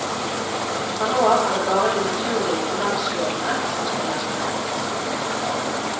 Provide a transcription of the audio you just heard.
Fra nå av er det bare de naturlige finanslovene som skal gjelde.